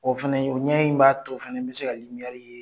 O fɛnɛ ɲɛ in b'a to fɛnɛ n bɛ se ka ye.